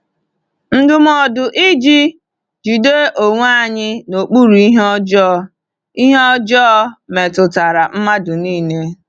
Ndụmọdụ iji “jide onwe anyị n’okpuru ihe ọjọọ” ihe ọjọọ” metụtara mmadụ niile.